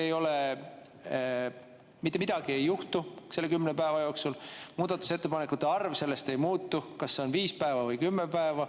Mitte midagi ei juhtu selle kümne päeva jooksul, muudatusettepanekute arv sellest ei muutu, kas see on viis päeva või kümme päeva.